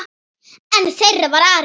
Einn þeirra var Ari.